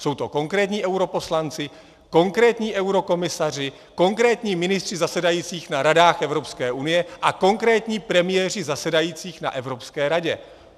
Jsou to konkrétní europoslanci, konkrétní eurokomisaři, konkrétní ministři zasedající na Radách Evropské unie a konkrétní premiéři zasedající na Evropské radě.